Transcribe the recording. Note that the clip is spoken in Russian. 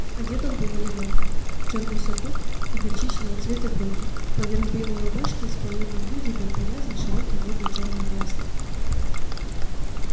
одет он был элегантно в чёрный сюртук и горчичного цвета брюки поверх белой рубашки с плоёной грудью был повязан широкий модный чёрный галстук